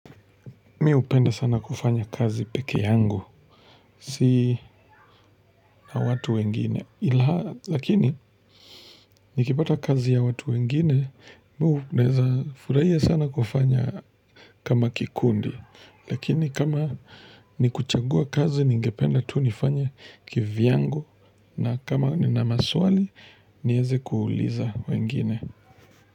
Mi hupenda sana kufanya kazi peke yangu, si na watu wengine, ila lakini nikipata kazi ya watu wengine, mi naweza furahia sana kufanya kama kikundi, lakini kama nikuchagua kazi ningependa tu nifanye kivyangu na kama nina maswali, nieze kuuliza wengine.